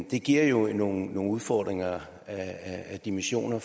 det giver jo nogle udfordringer af dimensioner